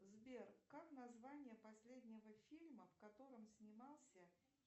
сбер как название последнего фильма в котором снимался